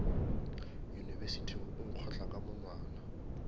yunibesithing o nkgotla ka monwana